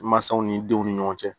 Mansaw ni denw ni ɲɔgɔn cɛ